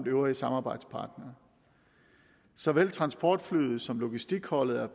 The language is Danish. øvrige samarbejdspartnere såvel transportflyet som logistikholdet er